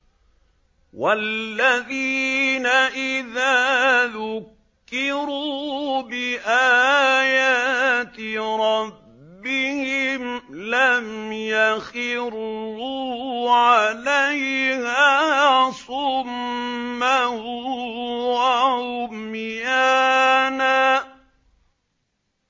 وَالَّذِينَ إِذَا ذُكِّرُوا بِآيَاتِ رَبِّهِمْ لَمْ يَخِرُّوا عَلَيْهَا صُمًّا وَعُمْيَانًا